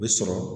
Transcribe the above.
U bɛ sɔrɔ